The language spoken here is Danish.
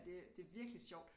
Det det er virkelig sjovt